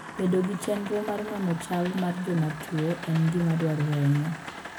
Bedo gi chenro mar nono chal mar jotuwo en gima dwarore ahinya.